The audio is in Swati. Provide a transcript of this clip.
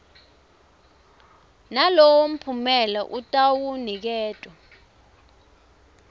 nalowo mphumela atawuniketwa